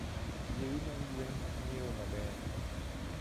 Yiewi mag gwen ng'iewo maber.